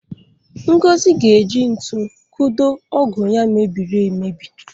Ngozi ga-eji ntu kụdo ọ́gụ̀ ya mebiri emebi.